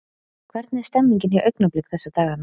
Hvernig er stemningin hjá Augnablik þessa dagana?